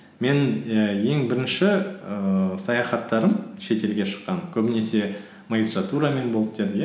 мен і ең бірінші ііі саяхаттарым шетелге шыққан көбінесе магистратурамен болды деді иә